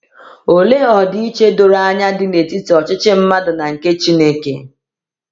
Olee ọdịiche doro anya dị n’etiti ọchịchị mmadụ na nke Chineke!